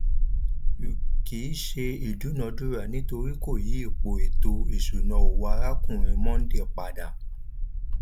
vii kìí ṣe ìdúnadúrà nítorí kò yí ipò ètò ìṣúná owó arákùnrin mondal pada